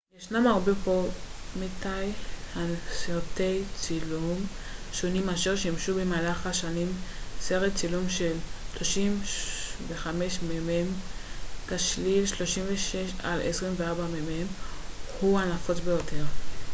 "ישנם הרבה פורמטי סרטי צילום שונים אשר שימשו במהלך השנים. סרט צילום של 35 מ""מ תשליל 36 על 24 מ""מ הוא הנפוץ ביותר.